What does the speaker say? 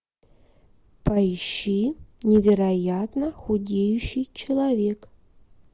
поищи невероятно худеющий человек